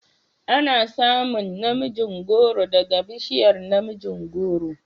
Ana samun na mijin goro daga bishiyar namijin goro